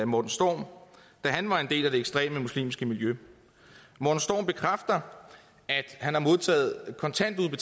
morten storm da han var en del af det ekstreme muslimske miljø morten storm bekræfter at han har modtaget kontanter